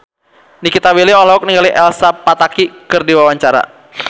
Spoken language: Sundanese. Nikita Willy olohok ningali Elsa Pataky keur diwawancara